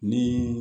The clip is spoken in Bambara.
Ni